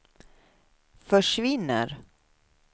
försvinner